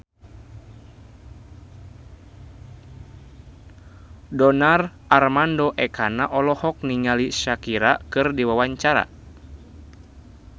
Donar Armando Ekana olohok ningali Shakira keur diwawancara